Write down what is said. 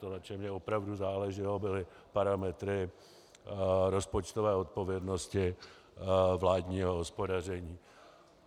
To, na čem mi opravdu záleželo, byly parametry rozpočtové odpovědnosti vládního hospodaření.